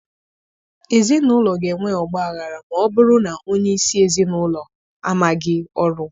Ezi n'ụlọ ga-enwe ọgbaghara ma ọ bụrụ na onye isi ezi n'ụlọ ụlọ amaghị ọrụ.